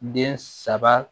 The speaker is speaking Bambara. Den saba